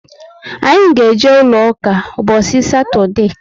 Anyị ga eje ụlọ ụka mbosi satode